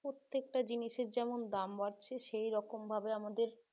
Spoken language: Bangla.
প্রত্যেকটা জিনিসের যেমন দাম বাড়ছে সেই রকমভাবে আমাদের